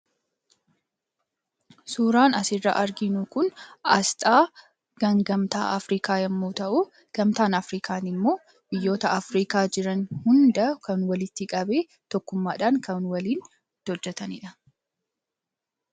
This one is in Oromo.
Suuraan asirraa arginu Kun, asxaa kan gamtaa Afriikaa yemmuu ta'u, gamtaan afrikaa Kun immoo biyyoota afrikaa jiran hunda kan walitti qabee tokkummaadhaan kan waliin itti hojjetanidha.